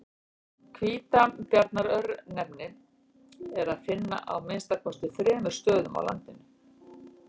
Hvítabjarnar-örnefni er að finna á að minnsta kosti þremur stöðum á landinu.